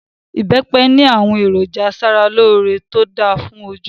ibepe ni awon eroja asaraloore to da fun oju